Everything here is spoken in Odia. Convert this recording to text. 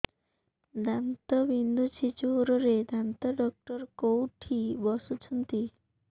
ଦାନ୍ତ ବିନ୍ଧୁଛି ଜୋରରେ ଦାନ୍ତ ଡକ୍ଟର କୋଉଠି ବସୁଛନ୍ତି